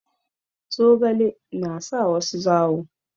Zogale na sa wasu zawo.